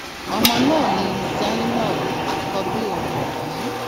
ọmọ náà ni zainab àkọbí òun yìí